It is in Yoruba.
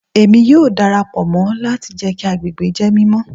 Emi yoo darapọ mọ lati jẹ ki agbegbe jẹ mimọ